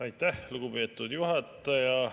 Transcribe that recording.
Aitäh, lugupeetud juhataja!